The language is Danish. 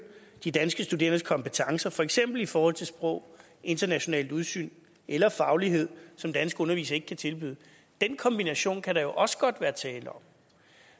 de danske studerendes kompetencer for eksempel i forhold til sprog internationalt udsyn eller faglighed som danske undervisere ikke kan tilbyde den kombination kan der jo også godt være tale om